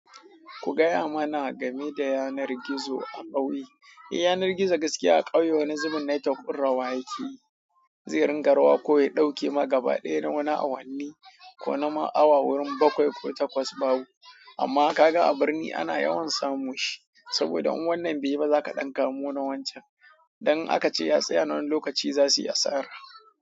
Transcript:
Ku gaya mana game da yanar gizo a ƙauye. Eh, yanar gizo gaskiya a ƙauye wani zubin network ɗin rawa yake yi. Zai ringa rawa ko ya ɗauke ma gaba ɗaya na wani awanni, ko na ma awa wurin bakwai ko takwas babu. Amma ka ga a birni ana yawan samu shi, saboda in wannan be yi ba, za ka ɗan kamo na wancan. Don aka ace ya tsaya na wani lokaci, za su yi asara.